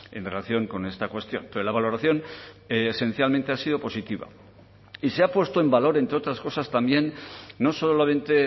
en relación con esta cuestión pero la valoración esencialmente ha sido positiva y se ha puesto en valor entre otras cosas también no solamente